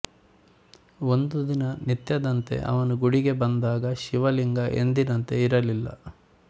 ಒಂದು ದಿನ ನಿತ್ಯದಂತೆ ಅವನು ಗುಡಿಗೆ ಬಂದಾಗ ಶಿವಲಿಂಗ ಎಂದಿನಂತೆ ಇರಲಿಲ್ಲ